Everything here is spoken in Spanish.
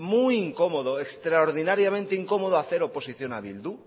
muy incómodo extraordinariamente incomodo hacer oposición a bildu